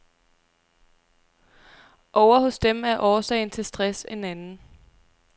Ovre hos dem er årsagen til stress en anden.